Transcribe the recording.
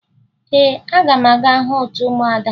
Ee, aga m aga hụ otu ụmụada